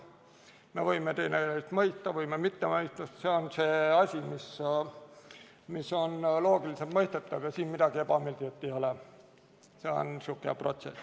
Me võime teineteist mõista, võime mitte mõista, see on see asi, mis on loogiliselt mõistetav ja siin midagi ebameeldivat ei ole, see on niisugune protsess.